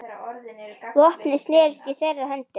Vopnin snerust í þeirra höndum.